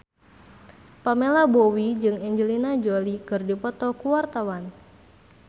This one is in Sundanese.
Pamela Bowie jeung Angelina Jolie keur dipoto ku wartawan